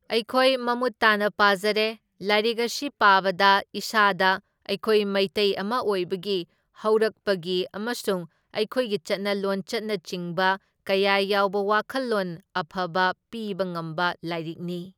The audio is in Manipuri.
ꯑꯩꯈꯣꯏ ꯃꯃꯨꯠ ꯇꯥꯅ ꯄꯥꯖꯔꯦ, ꯂꯥꯏꯔꯤꯛ ꯑꯁꯤ ꯄꯥꯕꯗ ꯏꯁꯥꯗ ꯑꯩꯈꯣꯏ ꯃꯤꯇꯩ ꯑꯃ ꯑꯣꯏꯕꯒꯤ ꯍꯧꯔꯛꯄꯒꯤ ꯑꯃꯁꯨꯡ ꯑꯩꯈꯣꯏꯒꯤ ꯆꯠꯅ ꯂꯣꯟꯆꯠꯅꯆꯤꯡꯕ ꯀꯌꯥ ꯌꯥꯎꯕ ꯋꯥꯈꯜꯂꯣꯟ ꯑꯐꯕ ꯄꯤꯕ ꯉꯝꯕ ꯂꯥꯏꯔꯤꯛꯅꯤ꯫